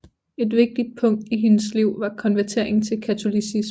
Et vigtigt punkt i hendes liv var konverteringen til katolicismen